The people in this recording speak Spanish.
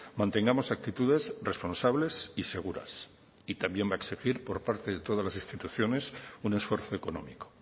mantengamos actitudes responsables y seguras y también va a exigir por parte de todas las instituciones un esfuerzo económico